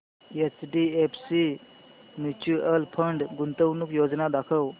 HDFC mutual fund गुंतवणूक योजना दाखव